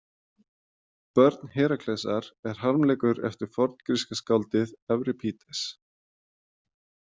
Börn Heraklesar er harmleikur eftir forngríska skáldið Evripídes.